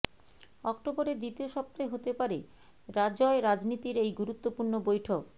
অক্টোবরের দ্বিতীয় সপ্তাহে হতে পারে রাজ্য় রাজনীতির এই গুরুত্বপূর্ণ বৈঠক